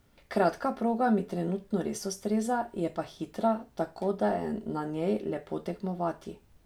Kratka proga mi trenutno res ustreza, je pa hitra, tako da je na njej lepo tekmovati.